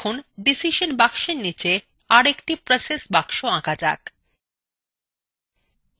এখন decision box নীচে আর একটি process box আঁকা যাক